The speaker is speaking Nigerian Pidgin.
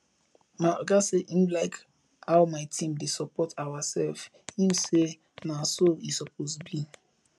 my oga say im like how my team dey support ourself im say na so e suppose be